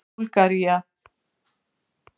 Búlgaría